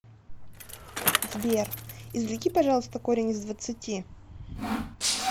сбер извлеки пожалуйста корень из двадцати